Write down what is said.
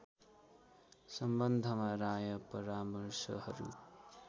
सम्वन्धमा राय परामर्शहरू